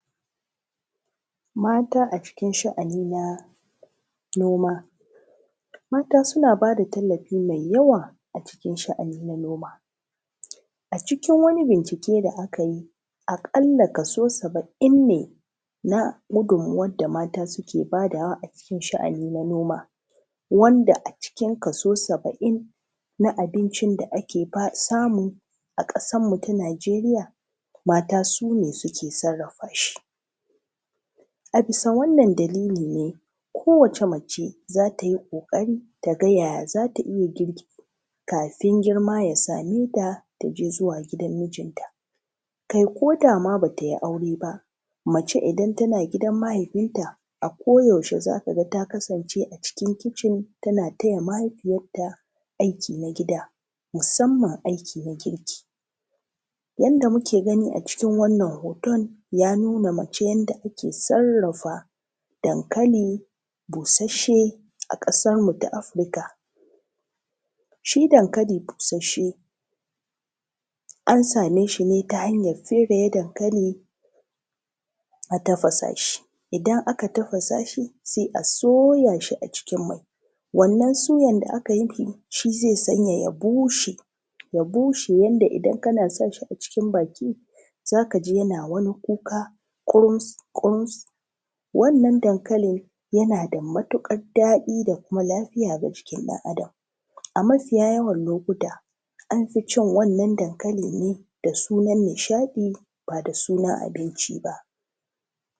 Mata a cikin sha’ani na noma, Mata suna ba da tallafi mai yawa a cikin sha’ani na noma, A cikin wani bincike da aka yi aƙalla kaso saba’in ne na gudummawar da mata suke bayarwa a cikin sha’ani na noma, A ciki kaso saba’in na abincin da ake samu a ƙasarmu ta Nigeriya mata su ne suke sarrafa shi, A bisa wannan dalili ne kowace mace take ƙoƙari ta gani yaya za ta iya girki kafin girma ya same ta ta je zuwa gidan mijinta, ko da ma ba ta yi aure ba, Mace idan tana gidan mahaifinta a koyaushe za ka ga ta kasance a cikin kicin tana taya mahaifiyarta aiki na gida, musamman aiki na girki wanda muke gani a cikin wannan hoto, ya nuna mana yadda mace take sarrafa dankali busasshe a ƙasarmu ta Afrika, Shi dankali busasshe ta hanyar fere shi a tafasa shi, Idan aka tafasa sosai sai a soya shi a cikin mai, Wannan suyan da aka yi shi zai sanya shi ya bushe yadda idan kana sa shi a cikin baki za ka ji yana wani kuka ƙurus-ƙurus, Wannan dankali yana da matuƙar daɗi da kuma lafiya ga jikin ɗan Adam, A mafiya yawan lokuta an fi cin wannan dankali ne da sunan nishaɗi ba da sunan abinci ba.